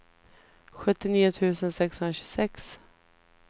sjuttionio tusen sexhundratjugosex